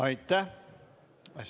Aitäh!